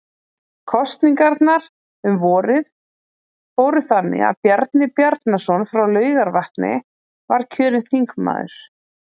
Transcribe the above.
Kosningarnar um vorið fóru þannig að Bjarni Bjarnason frá Laugarvatni var kjörinn þingmaður